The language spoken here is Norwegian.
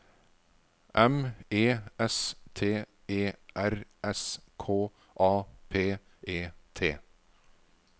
M E S T E R S K A P E T